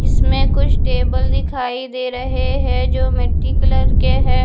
इसमें कुछ टेबल दिखाई दे रहे हैं जो मिट्टी कलर के है।